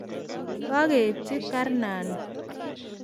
kakeibchi karnani.